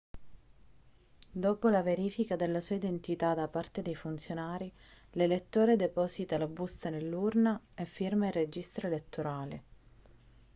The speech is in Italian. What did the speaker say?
dopo la verifica della sua identità da parte dei funzionari l'elettore deposita la busta nell'urna e firma il registro elettorale